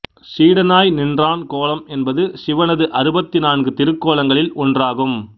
சீடனாய் நின்றான் கோலம் என்பது சிவனது அறுபத்து நான்கு திருக்கோலங்களில் ஒன்றாகும்